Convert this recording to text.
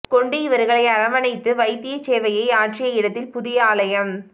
கொண்டு இவர்களை அரவனைத்து வைத்திய சேவையை ஆற்றிய இடத்தில் புதிய ஆலயம்